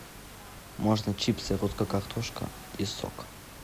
можно чипсы русская картошка и сок